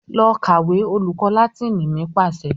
"Lọ kàwé!" Olùkọ́ Láátínì mi pàṣẹ.